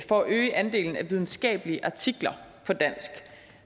for at øge andelen af videnskabelige artikler på dansk